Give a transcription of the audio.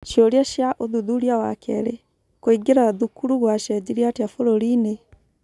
ciũria cia ũthuthuria wa kerĩ : Kũingĩra thukuru gwacenjirie atĩa bũrũri-inĩ ?